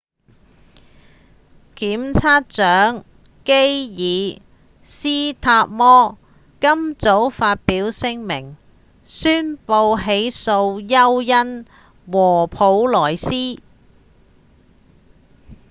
檢察長基爾‧斯塔摩今早發表聲明宣布起訴休恩和普萊斯